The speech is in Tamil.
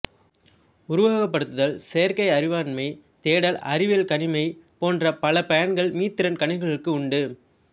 உருவகப்படுத்தல் செயற்கை அறிவாண்மை தேடல் அறிவியல் கணிமை போன்ற பல பயன்கள் மீத்திறன் கணினிகளுக்கு உண்டு